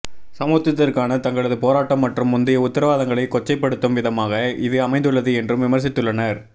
சமத்துவத்திற்கான தங்களது போராட்டம் மற்றும் முந்தைய உத்திரவாதங்களை கொச்சைப்படுத்தும் விதமாக இது அமைந்துள்ளது என்றும் விமர்சித்துள்ளனர்